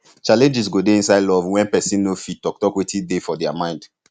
challenges go dey inside love when persin no fit talk talk wetin dey for their mind